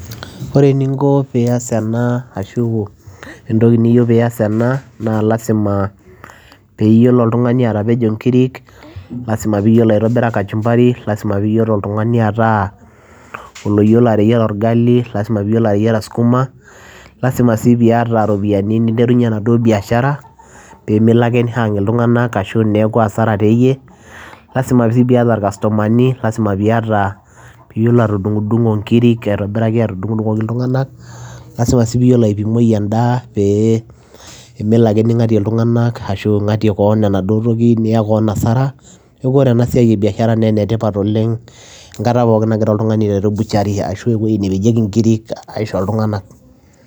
Ore eninko pias ena ashu entoki niyeu pias ena naa lazima pee iyiolo oltung'ani atapejo inkirik, lazima piiyiolo aitobira kachumbari, lazima iiyiolo oltung'ani ataa oloyiolo ateyiara orgali, lazima piiyiolo ateyiara skuma, lazima sii piiyata iropiani ninterunye enaduo biashara pee melo ake nihung' iltung; anak ashu neeku hasara teeyie. lazima sii piiyata ircustomani lazima piiyata piiyiolo atudung'dung'o inkirik aitobiraki atudung'dung'oki iltung'anak, lazima sii piiyiolo aipimoi endaa pee melo ake ning'atie iltunganak ashu ing'atie koon enaduo toki niya koon hasara. Neeku ore ena siai e biashara nee ene tipat oleng' enkata pookin nagira oltung'ani aiteru butechery ashu ewuei nepejaki inkirik aisho iltung'anak.